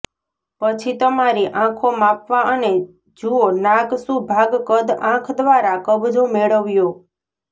પછી તમારી આંખો માપવા અને જુઓ નાક શું ભાગ કદ આંખ દ્વારા કબજો મેળવ્યો